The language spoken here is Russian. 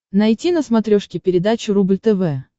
найти на смотрешке передачу рубль тв